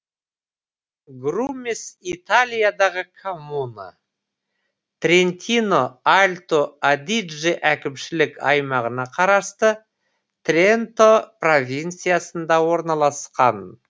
грумес италиядағы коммуна трентино альто адидже әкімшілік аймағына қарасты тренто провинциясында орналасқан